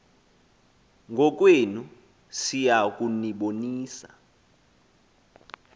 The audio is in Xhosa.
ngokwenu siya kunibonisa